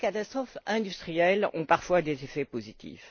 les grandes catastrophes industrielles ont parfois des effets positifs.